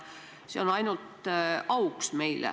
See on meile ainult auks.